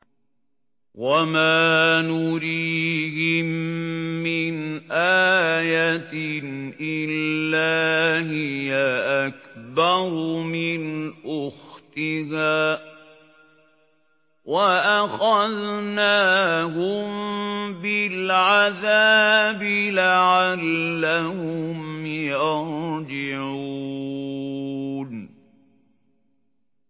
وَمَا نُرِيهِم مِّنْ آيَةٍ إِلَّا هِيَ أَكْبَرُ مِنْ أُخْتِهَا ۖ وَأَخَذْنَاهُم بِالْعَذَابِ لَعَلَّهُمْ يَرْجِعُونَ